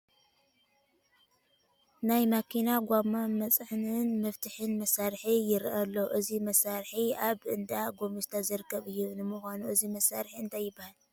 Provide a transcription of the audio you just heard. ናይ መኪና ጐማ መፅንዕን መፍትሕን መሳርሒ ይርአ ኣሎ፡፡ እዚ መሳርሒ ኣብ እንዳ ጐሚስታ ዝርከብ እዩ፡፡ ንምዃኑ እዚ መሳርሒ እንታይ ይበሃል?